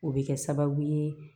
O bɛ kɛ sababu ye